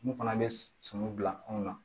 Mun fana bɛ sɔmi bila anw na